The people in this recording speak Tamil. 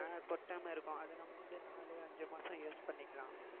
அஹ் கொட்டாம இருக்கும் அது நம்ம வந்து நாலு அஞ்சு மாசம் use பண்ணிக்கலாம்